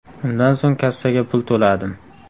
Undan so‘ng kassaga pul to‘ladim.